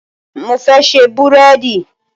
Mo fẹ́ ṣe búréèdì.